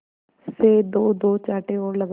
से दोदो चांटे और लगाए